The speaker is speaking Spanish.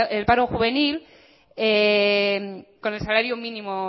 el paro juvenil con el salario mínimo